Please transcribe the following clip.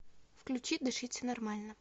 включи дышите нормально